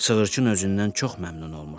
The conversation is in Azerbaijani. Sığırçın özündən çox məmnun olmuşdu.